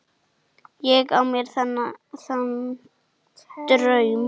Ég á mér þann draum.